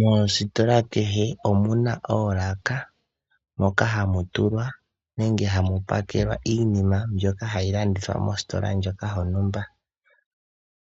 Mositola kehe omu na oolaka moka hamu pakelwa iinama mbyoka hayi landithwa mositola ndjoka yontumba.